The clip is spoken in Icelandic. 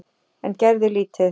En gerði lítið.